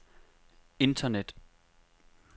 internet